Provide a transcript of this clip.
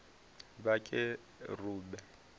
vhakerube